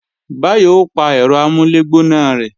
Báyọ̀ ó pa ẹ̀rọ amúlẹ̀gbóná lọ̀sán